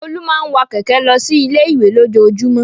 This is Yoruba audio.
Folú máa ń wa kẹ̀kẹ́ lọ sí ilé-ìwé lójoojúmọ́.